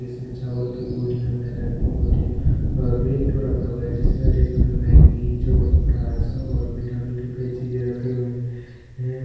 इसमें चावल की बोरी मैदा की बोरि और रैक रखा हुआ है जिसमें रैक में मैगी चवनप्राश और विटामिन की कई चीजे रखे हुए हैं.